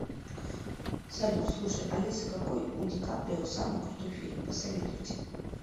салют слушай алиса какой у ди каприо самый крутой фильм посоветуйте